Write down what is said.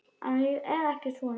En ég er ekki svona.